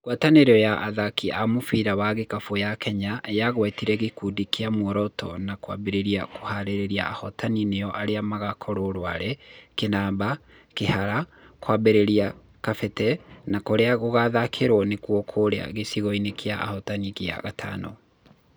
Ngwatanĩro ya athaki a mũbira wa gĩkabũ ya Kenya yagwetire gĩkundi na muoroto wa kũambĩrĩria kũharĩrĩria ahotani nĩo arĩa magakorwo Rware, Kĩnamba, Kĩhara, Kwambĩra, Kabete na kũrĩa gũgathakĩrũo nĩkuo Karũri gicigoinĩ kĩa ahotani kĩa V